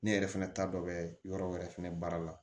Ne yɛrɛ fɛnɛ ta dɔ bɛ yɔrɔ wɛrɛ fɛnɛ baara la